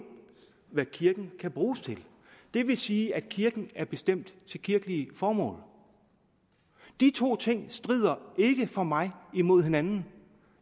hvad kirken kan bruges til det vil sige at kirken er bestemt til kirkelige formål de to ting strider ikke for mig imod hinanden